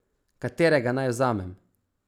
Katerega naj vzamem?